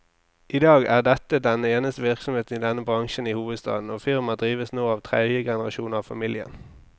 I dag er dette den eneste virksomheten i denne bransjen i hovedstaden, og firmaet drives nå av tredje generasjon av familien.